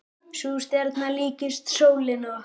Sú stjarna líkist sólinni okkar.